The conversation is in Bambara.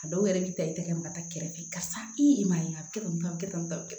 A dɔw yɛrɛ b'i ta i tɛgɛ minɛ ka taa kɛrɛfɛ karisa i man ye a bɛ kɛ tan a bɛ kɛ tan